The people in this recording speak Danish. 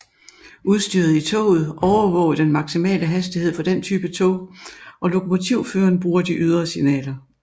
Udstyret i toget overvåger den maksimale hastighed for den type tog og lokomotivføreren bruger de ydre signaler